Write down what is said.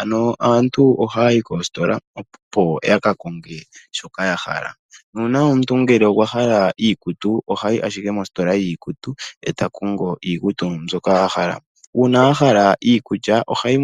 Ano aantu ohaayi koositola opo yakakonge shoka ya hala, nuuna omuntu ngele okwahala iikutu ohayi ashike mositola yiikutu etakongo iikutu mbyoka a hala. Uuna a hala iikulya ohayi